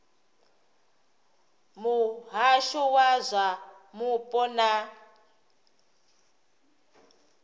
muhasho wa zwa mupo na